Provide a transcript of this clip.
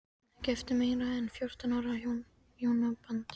Ekki eftir meira en fjórtán ára hjónaband.